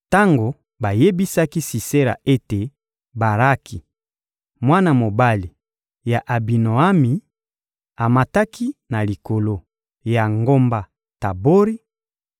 Tango bayebisaki Sisera ete Baraki, mwana mobali ya Abinoami, amataki na likolo ya ngomba Tabori,